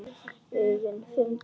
augum fimm dómara.